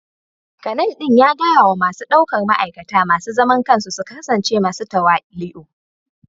Kanal din ya gaya wa masu daukar ma'aikata masu zaman kansu su kasance masu tawali'u